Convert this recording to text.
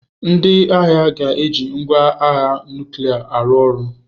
Ndị agha ga-eji ngwa agha nuklia arụ ọrụ.